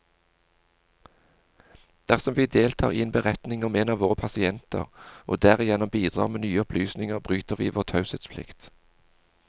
Dersom vi deltar i en beretning om en av våre pasienter, og derigjennom bidrar med nye opplysninger, bryter vi vår taushetsplikt.